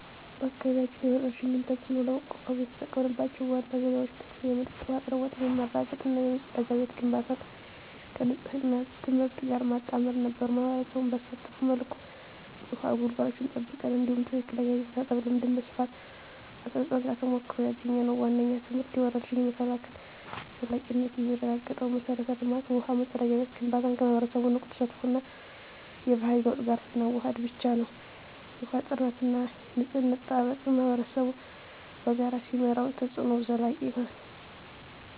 በአካባቢያችን የወረርሽኝን ተፅዕኖ ለመቋቋም የተጠቀምንባቸው ዋና ዘዴዎች ንጹህ የመጠጥ ውሃ አቅርቦት ማረጋገጥ እና የመጸዳጃ ቤት ግንባታን ከንፅህና ትምህርት ጋር ማጣመር ነበሩ። ማኅበረሰቡን ባሳተፈ መልኩ የውሃ ጉድጓዶችን ጠብቀን፣ እንዲሁም ትክክለኛ የእጅ መታጠብ ልምድን በስፋት አስረፅን። ከተሞክሮ ያገኘነው ዋነኛው ትምህርት የወረርሽኝ መከላከል ዘላቂነት የሚረጋገጠው የመሠረተ ልማት (ውሃ፣ መጸዳጃ ቤት) ግንባታን ከማኅበረሰቡ ንቁ ተሳትፎ እና የባህሪ ለውጥ ጋር ስናዋህድ ብቻ ነው። የውሃ ጥራትና የንፅህና አጠባበቅን ማኅበረሰቡ በራሱ ሲመራው፣ ተፅዕኖው ዘላቂ ይሆናል።